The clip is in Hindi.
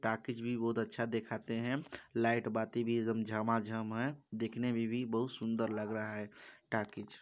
टॉकीज भी बहुत अच्छा दिखाते है लाईट बत्ती भी एकदम झमाझम है देखने में भी बहुत सुंदर लग रहा है टाकीज।